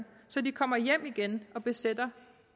så de kommer hjem igen og besætter